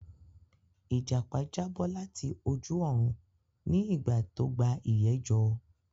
Ìjàpá já bọ́ láti ojú òrun ní ìgbà tó gba ìyé jọ